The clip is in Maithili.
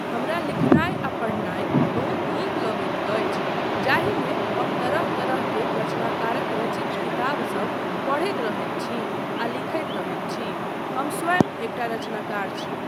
हमरा लिखनाय आ पढ़नाय बहुत नीक लगैत अछि जाहिमे हम तरह तरह के रचनाकारक रचित किताबसब पढ़ैत रहैत छी आ लिखैत रहैत छी, हम स्वयं एकटा रचनाकार छी।